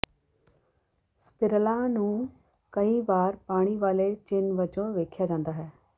ਸਪਿਰਲਾਂ ਨੂੰ ਕਈ ਵਾਰ ਪਾਣੀ ਵਾਲੇ ਚਿੰਨ੍ਹ ਵਜੋਂ ਵੇਖਿਆ ਜਾਂਦਾ ਹੈ